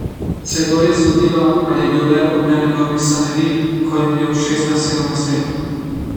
Se je to res zgodilo, ali je bil le odmev njegovih sanjarij, ko je imel šestnajst, sedemnajst let?